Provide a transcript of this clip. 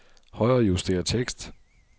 Højrejuster tekst.